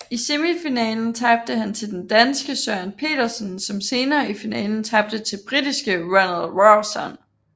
I semifinalen tabte han til danske Søren Petersen som senere i finalen tabte til britiske Ronald Rawson